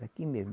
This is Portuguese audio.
Daqui mesmo.